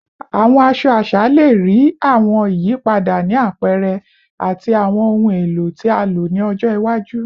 Awọn aṣọ aṣa le rii awọn iyipada ni apẹrẹ ati awọn ohun elo ti a lo ni ọjọ iwaju